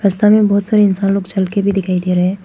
सामने बहुत सारे इंसान लोग चलकर भी दिखाई दे रहे--